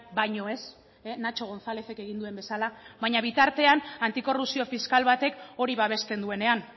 baino ez nacho gonzalezek egin duen bezala baina bitartean antikorrupzio fiskal batek hori babesten duenean